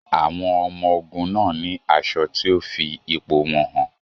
Àwọn ọmọ-ogun náà ní aṣọ tí ó fi ipò wọn hàn.